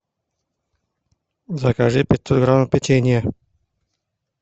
закажи пятьсот грамм печенья